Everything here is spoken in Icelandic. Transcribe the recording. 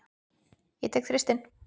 Ég tek Þristinn.